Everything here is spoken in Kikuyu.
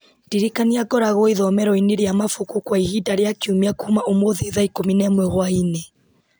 ndirikania ngoragwo ithomero-inĩ rĩa mabuku kwa ihinda rĩa kiumia kuma ũmũthĩ thaa ikũmi na ĩmwe hwaĩ-inĩ